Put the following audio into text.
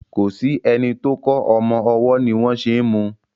kọ sí ẹní tó kò ọmọ ọwó ní wón ṣe mú.